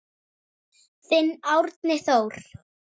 Þinn Árni Þór.